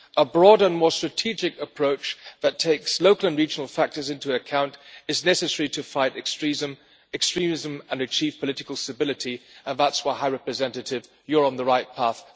A broader and more strategic approach that takes local and regional factors into account is necessary to fight extremism and achieve political stability, and that is why, High Representative, you are on the right path.